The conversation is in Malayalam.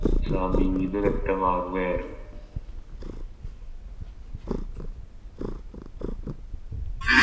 സമീപ് വ്യക്തമാവുകയായിരുന്നു